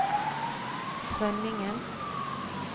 Frønningen